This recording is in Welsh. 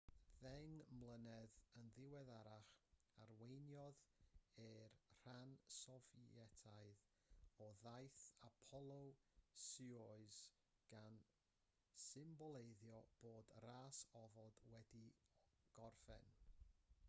ddeng mlynedd yn ddiweddarach arweiniodd e'r rhan sofietaidd o daith apollo-soyuz gan symboleiddio bod y ras ofod wedi gorffen